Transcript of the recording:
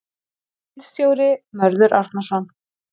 Ritstjóri Mörður Árnason.